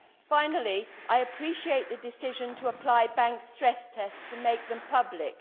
Finally, I appreciate the decision to apply bank stress tests and make them public.